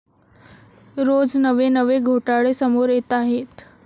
रोज नवे नवे घोटाळे समोर येताहेत.